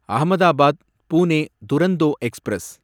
Ahmedabad Pune Duronto express